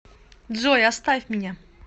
джой оставь меня